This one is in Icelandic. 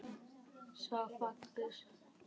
Svo fáguð.